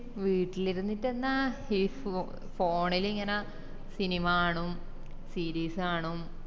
വീട്ടിലിരിന്നിറ്റന്നെ ഈ phone ലിങ്ങനെ cinema കാണും series കാണും